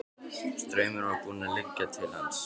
Straumurinn var búinn að liggja til hans.